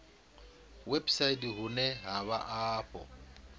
website vhune ha vha afho